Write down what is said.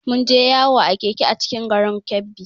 Mun je yawo a Keke a cikin garin Kebbi